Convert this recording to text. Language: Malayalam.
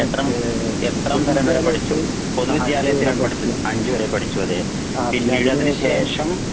എത്രാം തരാം വരെ പഠിച്ചു അഞ്ചു വരെ പഠിച്ചു അല്ലെ പൊതു വിദ്യാലത്തിലാണോ പഠിച്ചത് അഞ്ചു വരെ പഠിച്ചുഅതെ